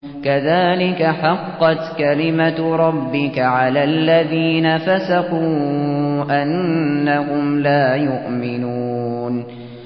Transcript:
كَذَٰلِكَ حَقَّتْ كَلِمَتُ رَبِّكَ عَلَى الَّذِينَ فَسَقُوا أَنَّهُمْ لَا يُؤْمِنُونَ